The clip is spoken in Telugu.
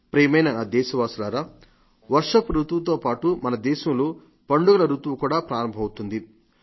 ప్రియమైన నా దేశవాసులారా వర్షపు రుతువుతో పాటు మన దేశంలో పండుగల రుతువు కూడా ప్రారంభమవుతుంది